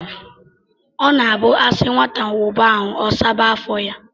ọ na-abụ a sị nwata wụba ahụ, ọ saba afọ ya